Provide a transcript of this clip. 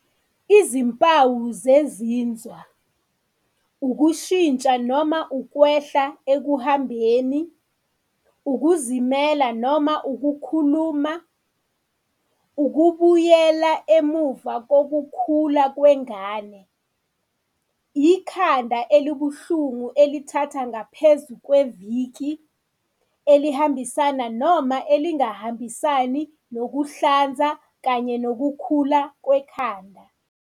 Izimpawu zezinzwa- Ukushintsha noma ukwehla ekuhambeni, ukuzimela noma ukukhuluma, ukubuyela emuva kokukhula kwengane, ikhanda elibuhlungu elithatha ngaphezu kweviki elihambisana noma elingahambisani nokuhlanza kanye nokukhula kwekhanda.